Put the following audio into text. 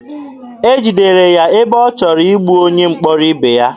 E jidere ya ebe ọ chọrọ igbu onye mkpọrọ ibe ya.